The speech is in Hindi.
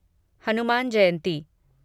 हनुमान जयंती